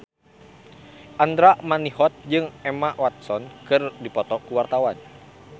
Andra Manihot jeung Emma Watson keur dipoto ku wartawan